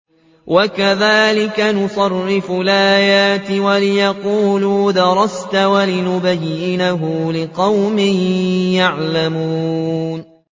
وَكَذَٰلِكَ نُصَرِّفُ الْآيَاتِ وَلِيَقُولُوا دَرَسْتَ وَلِنُبَيِّنَهُ لِقَوْمٍ يَعْلَمُونَ